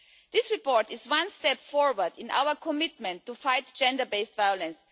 This report is one step forward in our commitment to fight gender based violence.